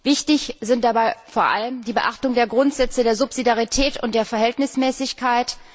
Wichtig sind dabei vor allem die Beachtung der Grundsätze der Subsidiarität und der Verhältnismäßigkeit.